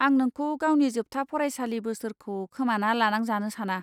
आं नोंखौ गावनि जोबथा फरायसालि बोसोरखौ खोमाना लानांजानो साना।